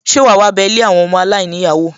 Ṣe wàá wá bé ilé àwọn ọmọ aláìníyàá wò?